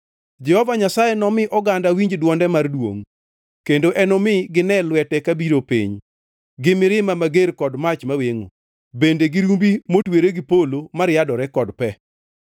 Jehova Nyasaye nomi oganda winj dwonde mar duongʼ kendo enomi gine lwete kabiro piny, gi mirima mager kod mach mawengʼo, bende gi rumbi motwere gi polo mariadore kod pe.